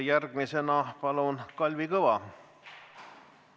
Järgmisena palun, Kalvi Kõva!